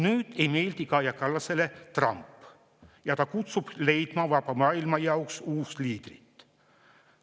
Nüüd ei meeldi Kaja Kallasele Trump ja ta kutsub leidma vaba maailma jaoks uut liidrit.